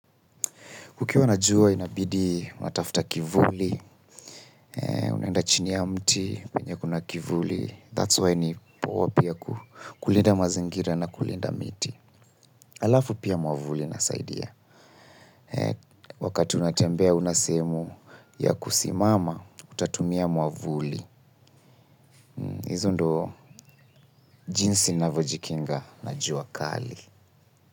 Kukiwa na jua inabidi, unatafta kivuli, unaenda chini ya mti, penye kuna kivuli. That's why ni poa pia kulinda mazingira na kulinda miti. Alafu pia mwavuli inasaidia. Wakati unatembea huna sehemu ya kusimama, utatumia mwavuli. Hizo ndo jinsi navojikinga na jua kali.